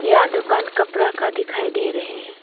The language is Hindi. यह दुकान कपड़ा का दिखाई दे रहे हैं।